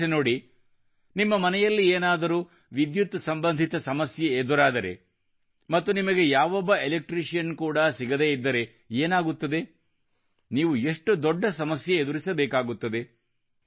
ಯೋಚಿಸಿ ನೋಡಿ ನಿಮ್ಮ ಮನೆಯಲ್ಲಿ ಏನಾದರೂ ವಿದ್ಯುತ್ ಸಂಬಂಧಿತ ಸಮಸ್ಯೆ ಎದುರಾದರೆ ಮತ್ತು ನಿಮಗೆ ಯಾವೊಬ್ಬ ಎಲೆಕ್ಟ್ರಿಷಿಯನ್ ಕೂಡಾ ಸಿಗದೇ ಇದ್ದರೆ ಏನಾಗುತ್ತದೆ ನೀವು ಎಷ್ಟು ದೊಡ್ಡ ಸಮಸ್ಯೆ ಎದುರಿಸಬೇಕಾಗುತ್ತದೆ